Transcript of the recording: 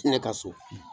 Ne ka so